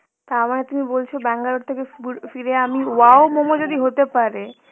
তারমানে তুমি বলছো ব্যাঙ্গালোর থেকে বুল~ ফিরে আমি wow momo যদি হতে পারে